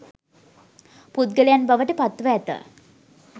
පුද්ගලයන් බවට පත් ව ඇත.